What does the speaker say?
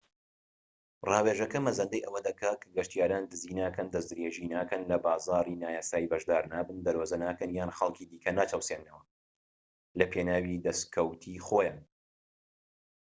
ڕاوێژەکە مەزەندەی ئەوە دەکات کە گەشتیاران دزی ناکەن دەست درێژی ناکەن لە بازاڕی نایاسایی بەشدار نابن دەرۆزە ناکەن یان خەڵکی دیکە ناچەوسێننەوە لە پێناوی دەسکەوتی خۆیان